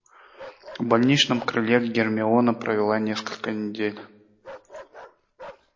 в больничном крыле гермиона провела несколько недель